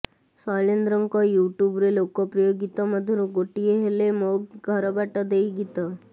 ଶୈଳେନ୍ଦ୍ରଙ୍କ ୟୁଟ୍ୟୁବରେ ଲୋକପ୍ରିୟ ଗୀତ ମଧ୍ୟରୁ ଗୋଟିଏ ହେଲେ ମୋ ଘର ବାଟ ଦେଇ ଗୀତ